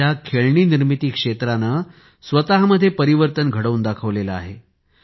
भारताच्या खेळणी निर्मिती क्षेत्राने स्वतःमध्ये परिवर्तन घडवून दाखविले आहे